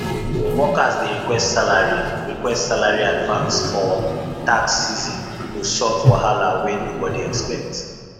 workers dey request salary request salary advance for tax season to sort wahala wey nobody expect